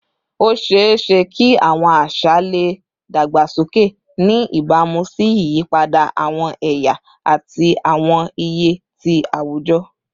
O ṣeeṣe ki awọn aṣa aṣa le dagbasoke, ni ibamu si iyipada awọn ẹya ati awọn iye ti awujọ